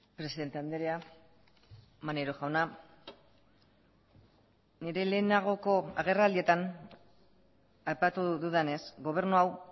presidente andrea maneiro jauna nire lehenagoko agerraldietan aipatu dudanez gobernu hau